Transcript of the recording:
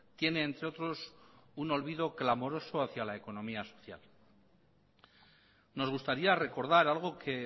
tiene entre otros un olvido clamoroso hacia la economía social nos gustaría recordar algo que